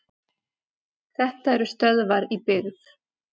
Þetta eru stöðvar í byggð.